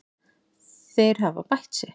Þeir hafa bætt sig.